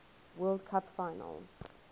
world cup final